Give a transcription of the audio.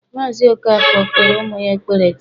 Mazị Okafor kpere ụmụ ya ekpere taa